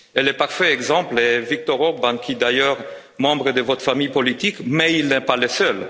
Et le parfait exemple est Viktor Orbán qui est d'ailleurs membre de votre famille politique mais il n'est pas le seul.